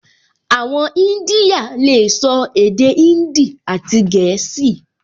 Àwọn ìdínyà lè sọ èdè índì àti gẹ̀ẹ́sì